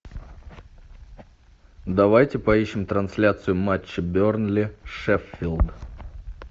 давайте поищем трансляцию матча бернли шеффилд